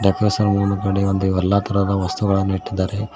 ರಸ ಮುನು ಗಾನಿ ಇವೆಲ್ಲಾ ತರಹದ ವಸ್ತುಗಳನ್ನು ಇಟ್ಟಿದ್ದಾರೆ.